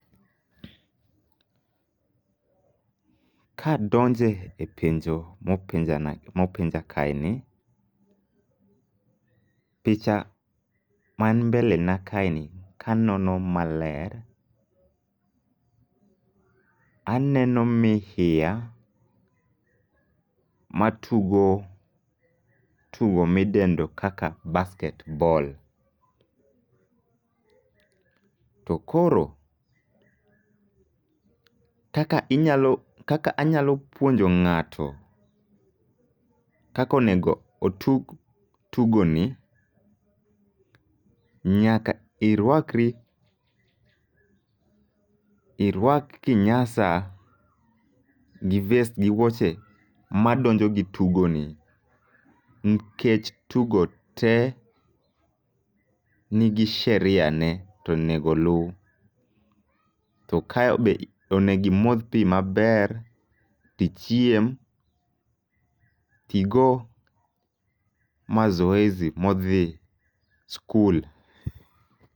Ka donje e penjo mopenja na mopenja kae ni, picha man mbele na kae ni kanono maler aeno mihiya ma tugo tugo midendo kaka basket ball. To koro kaka inyalo kaka anyalo puonjo ng'ato kakonego otug tugo ni, nyaka irwakri irwak kinyasa gi vest gi wuoche ma donjo gi tugo ni. Nkech tugo te nigi sheria ne tonego lu, to kae be onegi modh pi maber, tichiem, tigo mazoezi modhi skul.